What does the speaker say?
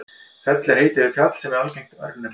fell er heiti yfir fjall og er algengt örnefni